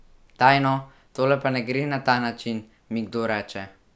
Daj no, tole pa ne gre na ta način, mi kdo reče.